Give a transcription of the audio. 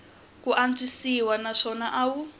ku antswisiwa naswona a wu